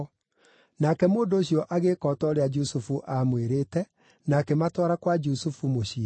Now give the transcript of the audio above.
Nake mũndũ ũcio agĩĩka o ta ũrĩa Jusufu aamwĩrĩte, na akĩmatwara kwa Jusufu mũciĩ.